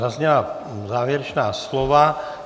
Zazněla závěrečná slova.